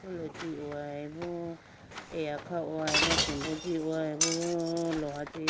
Apotolo tihoyibo eya khahoyibo asimbo jihoyibo loha chee.